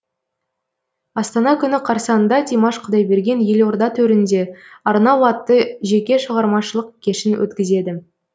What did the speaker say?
астана күні қарсаңында димаш құдайберген елорда төрінде арнау атты жеке шығармашылық кешін өткізеді